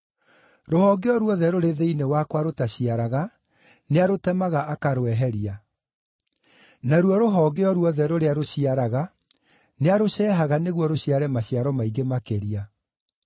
Rũhonge o ruothe rũrĩ thĩinĩ wakwa rũtaciaraga nĩarũtemaga akarweheria. Naruo rũhonge o ruothe rũrĩa rũciaraga nĩarũceehaga nĩguo rũciare maciaro maingĩ makĩria.